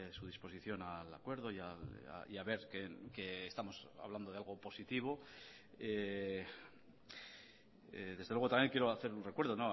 su disposición al acuerdo y a ver que estamos hablando de algo positivo desde luego también quiero hacer un recuerdo